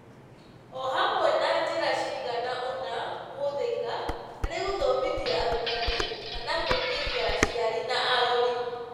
Ohamwe, na njĩra ciganaona, kũhũthĩka harĩ gũthomithia arutani kana kũingĩria aciari na arori